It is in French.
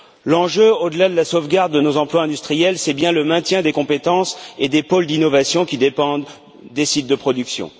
L'enjeu, au delà de la sauvegarde de nos emplois industriels, c'est bien le maintien des compétences et des pôles d'innovation qui dépendent des sites de production.